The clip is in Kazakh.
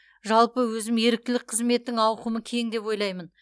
жалпы өзім еріктілік қызметтің ауқымы кең деп ойлаймын